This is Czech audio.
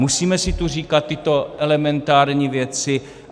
Musíme si tu říkat tyto elementární věci.